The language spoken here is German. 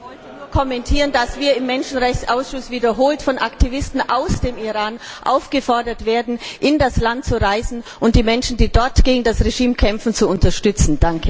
Herr Präsident! Ich wollte nur kommentieren, dass wir im Menschenrechtsausschuss wiederholt von Aktivisten aus dem Iran aufgefordert wurden, in das Land zu reisen und die Menschen, die dort gegen das Regime kämpfen, zu unterstützen.